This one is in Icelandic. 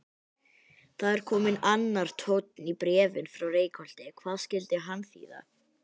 Það er kominn annar tónn í bréfin frá Reykholti, hvað skyldi hann þýða?